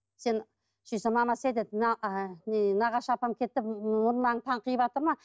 сөйтсем мамасы айтады мына нағашы апам келді деп мұрындарың таңқиыватыр ма